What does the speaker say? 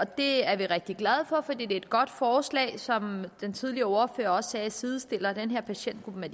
det er vi rigtig glade for for det er et godt forslag der som den tidligere ordfører også sagde sidestiller den her patientgruppe med